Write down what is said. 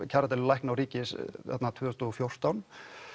kjaradeilu lækna og ríkis tvö þúsund og fjórtán